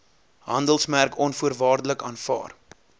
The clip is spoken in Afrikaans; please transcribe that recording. handelsmerk onvoorwaardelik aanvaar